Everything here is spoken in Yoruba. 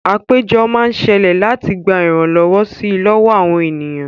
Àpéjọ máa ń ṣẹlẹ̀ láti gba ìrànlọ́wọ́ si lọ́wọ́ àwọn ènìyàn